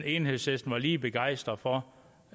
enhedslisten var lige begejstret for